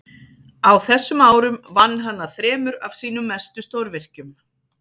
á þessum árum vann hann að þremur af sínum mestu stórvirkjum